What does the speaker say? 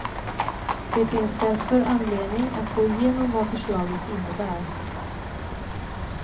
Det finns därför anledning att gå igenom vad förslaget innebär.